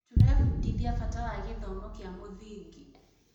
Tũrebundithia bata wa gĩthomo kĩa mũthingi.